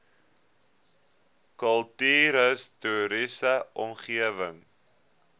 kultuurhis toriese omgewing